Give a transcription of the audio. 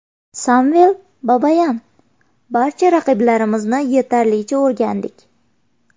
Samvel Babayan: Barcha raqiblarimizni yetarlicha o‘rgandik.